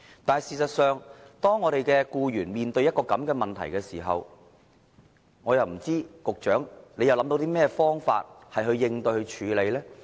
但是，當僱員面對這個問題時，我卻看不到局長有甚麼方法來應對和處理。